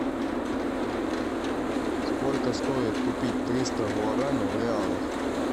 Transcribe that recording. сколько стоит купить триста гуарани в реалах